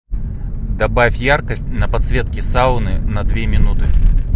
добавь яркость на подсветке сауны на две минуты